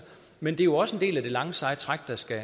men det er jo også en del af det lange seje træk der skal